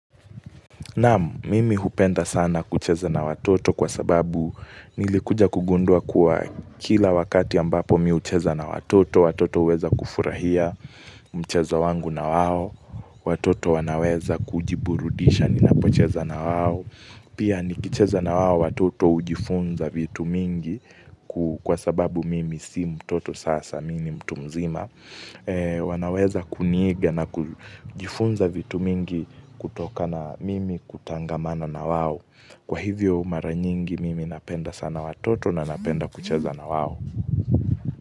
Nam, mimi hupenda sana kucheza na watoto kwa sababu nilikuja kugundua kuwa kila wakati ambapo mi hucheza na watoto, watoto huweza kufurahia mchezo wangu na wao, watoto wanaweza kujiburudisha, ninapocheza na wao. Pia nikicheza na hao watoto hujifunza vitu mingi kwa sababu mimi si mtoto sasa, mimi ni mtu mzima. Wanaweza kuniiga na kujifunza vitu mingi kutokana mimi kutangamano na wao. Kwa hivyo maranyingi mimi napenda sana watoto na napenda kucheza na wao.